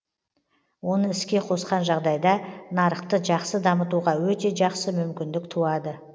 оны іске қосқан жағдайда нарықты жақсы дамытуға өте жақсы мүмкіндік туады